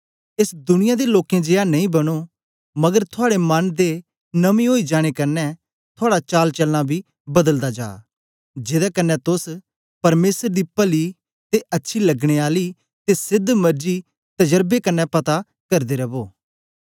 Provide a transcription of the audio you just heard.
एस दुनिया दे लोकें जियां नेई बनो मगर थुआड़े मन दे नमें ओई जाने कन्ने थुआड़ा चालचलना बी बदलदा जा जेदे कन्ने तोस परमेसर दी पली ते अच्छी लगने आली ते सेध्द मरजी तजरबे कन्ने पता करदे रवो